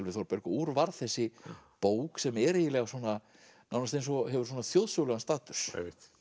við Þórberg og úr varð þessi bók sem er eiginlega svona nánast eins og hefur svona þjóðsögulegan status